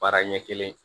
Baara ɲɛ kelen